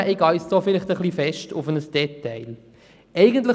Zugegeben, ich gehe da vielleicht zu stark auf ein Detail ein.